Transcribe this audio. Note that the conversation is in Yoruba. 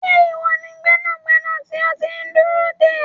Ṣé iwọ ni gbẹnàgbẹ̀nà tí a ti n dúró dé?